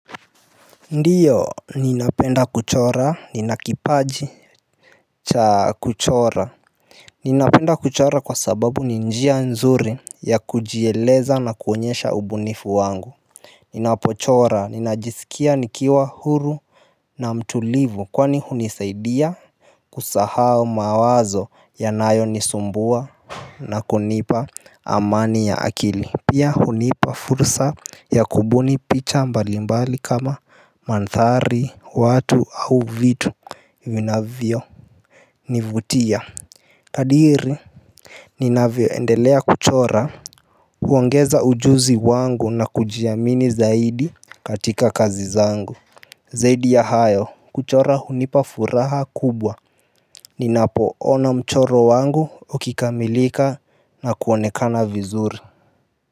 Ndiyo ninapenda kuchora nina kipaji cha kuchora ninapenda kuchora kwa sababu ni njia nzuri ya kujieleza na kuonyesha ubunifu wangu ninapochora ninajiskia nikiwa huru na mtulivu kwani hunisaidia kusahau mawazo yanayonisumbua na kunipa amani ya akili pia hunipa fursa ya kubuni picha mbalimbali kama manthari, watu au vitu vinavyo nivutia. Kadiri ninavyoendelea kuchora huongeza ujuzi wangu na kujiamini zaidi katika kazi zangu zaidi ya hayo kuchora hunipa furaha kubwa ninapoona mchoro wangu ukikamilika na kuonekana vizuri.